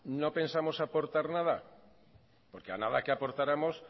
no pensamos aportar nada porque a nada que aportáramos